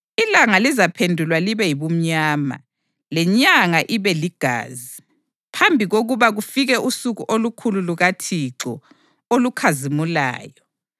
Ilanga lizaphendulwa libe yibumnyama, lenyanga ibeligazi phambi kokuba kufike usuku olukhulu lukaThixo, olukhazimulayo.